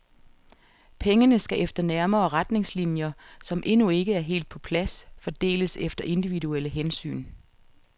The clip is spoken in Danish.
Pengene skal efter nærmere retningslinjer, som endnu ikke er helt på plads, fordeles efter individuelle hensyn.